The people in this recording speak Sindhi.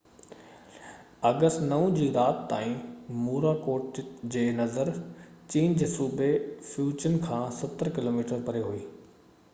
آگسٽ 9 جي رات تائين موراڪوٽ جي نظر چين جي صوبي فيوجن کان ستر ڪلوميٽر پري هئي